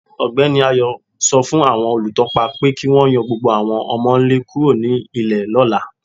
Ọgbẹni Ayo sọ fún awọn olùtọ̀pà pé kí wọn yọ̀ gbogbo awọn ọmọ-nlẹ̀ kúrò nínu ilẹ̀ ni ọ̀là.